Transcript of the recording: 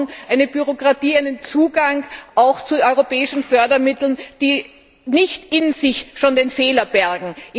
Wir brauchen eine Bürokratie, einen Zugang auch zu europäischen Fördermitteln, die nicht in sich schon den Fehler bergen.